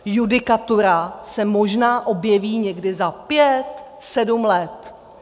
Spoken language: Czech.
Judikatura se možná objeví někdy za pět, sedm let.